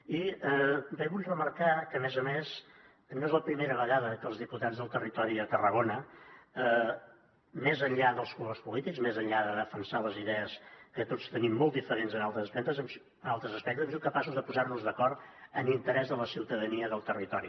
i vull remarcar que a més a més no és la primera vegada que els diputats del territori a tarragona més enllà dels colors polítics més enllà de defensar les idees que tots tenim molt diferents en altres aspectes hem sigut capaços de posar nos d’acord en interès de la ciutadania del territori